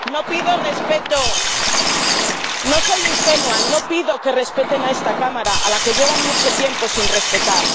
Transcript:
No pido que respeten a esta Cámara a la que llevan mucho tiempo sin respetar.